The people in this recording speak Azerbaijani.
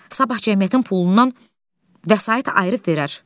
Sabah cəmiyyətin pulundan vəsait ayırıb verər.